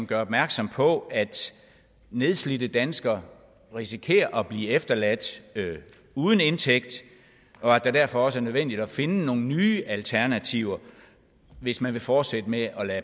gør opmærksom på at nedslidte danskere risikerer at blive efterladt uden indtægt og at det derfor også er nødvendigt at finde nogle nye alternativer hvis man vil fortsætte med at